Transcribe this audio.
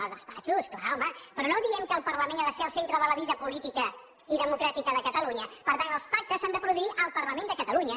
als despatxos clar home però no diem que el parlament ha de ser el centre de la vida política i democràtica de catalunya per tant els pactes s’han de produir al parlament de catalunya